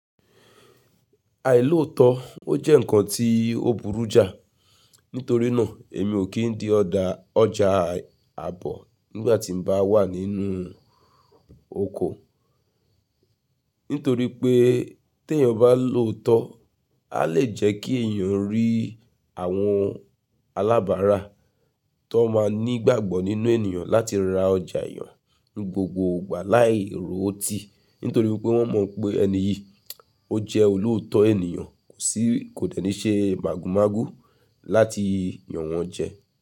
Àìlóòótọ́, ó jẹ́ ǹkan tí ó burú já, nítorínà èmi ò kí ń di ọ̀dọ̀ ọjà àbọ̀ nígbà tí mo bá wà nínú oko. Nítorí pé tí èèyàn bá lòótọ́, a lè jẹ́ kí èèyàn rí àwọn alábárá tó máa ní ìgbàgbọ́ nínú èèyàn láti ra ọjà èèyàn ní gbogbo ìgbà láì ròó tì. Nítorí pé wọ́n mọ̀ pé ẹni yìí, ó jẹ́ olóòótọ́ èèyàn kò sì, kò tẹ́ni ṣe màgùnmágù láti yàn wọ́n jẹ.